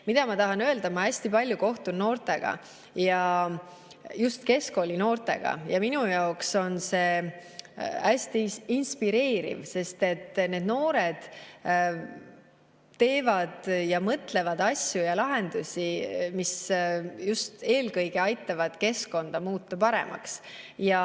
Mida ma tahan öelda – ma kohtun hästi palju noortega, just keskkoolinoortega, ja minu jaoks on see hästi inspireeriv, sest noored teevad ja mõtlevad asju ja lahendusi, mis eelkõige aitavad just keskkonda paremaks muuta.